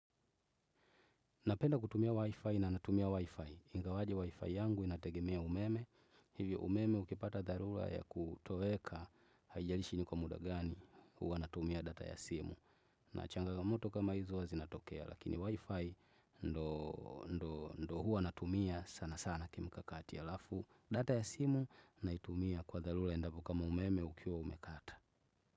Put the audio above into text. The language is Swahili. Napenda kutumia Wi-Fi na natumia Wi-Fi. Ingawaje Wi-Fi yangu inategemea umeme. Hivyo umeme ukipata dharura ya kutoweka haijalishi ni kwa muda gani huwa natumia data ya simu. Na changamoto kama hizi huwa zinatokea. Lakini Wi-Fi ndiyo huwa natumia sana sana kimkakati halafu data ya simu naitumia kwa dharura endapo kama umeme ukiwa umekata.